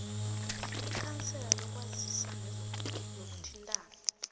ikhansela lezokwazisa nokuthintana